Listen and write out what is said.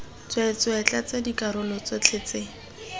tsweetswee tlatsa dikarolo tsotlhe tse